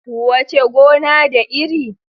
Wuce gona, da iri.